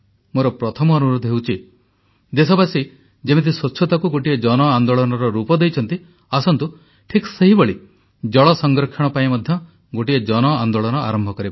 ମୋର ପ୍ରଥମ ଅନୁରୋଧ ହେଉଛି ଦେଶବାସୀ ଯେମିତି ସ୍ୱଚ୍ଛତାକୁ ଗୋଟିଏ ଜନ ଆନ୍ଦୋଳନର ରୂପ ଦେଇଛନ୍ତି ଆସନ୍ତୁ ଠିକ୍ ସେହିଭଳି ଜଳ ସଂରକ୍ଷଣ ପାଇଁ ମଧ୍ୟ ଗୋଟିଏ ଜନ ଆନ୍ଦୋଳନ ଆରମ୍ଭ କରିବା